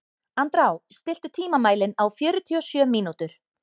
Andrá, stilltu tímamælinn á fjörutíu og sjö mínútur.